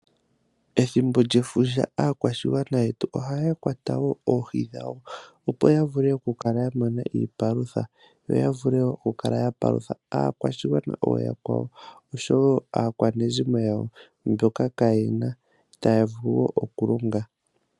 Ethimbo lyefundja aakwashigwana yetu ohaya kwata wo oohi dhawo opo yavule okukala yamona iipalutha yo yavule okupalutha aakwashigwana ooyakwawo osho wo aakwanezimo yawo mboka kaayena itaavulu wo okulonga.